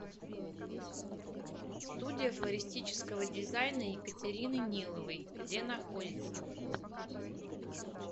студия флористического дизайна екатерины ниловой где находится